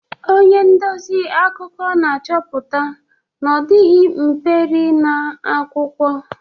Onye ndezi akụkọ na-achọpụta na ọ dịghị mperi na akwụkwọ.